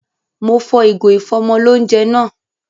Mo fọ ìgò ìfọ́mọlóunjẹ náà